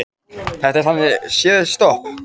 Þetta er þannig séð stopp